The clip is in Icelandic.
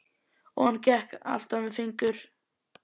Og hann gekk alltaf með fingur